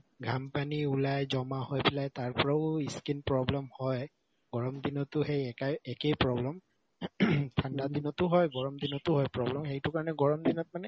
ঘাম পানী ওলাই জমা হৈ তাৰ পৰাও ই skin problem হয় গৰম দিনতো সেই একাই একেই problem ঠাণ্ডা দিনতো হয় গৰম দিনতো হয় problem সেইটো কাৰণে গৰম দিনত মানে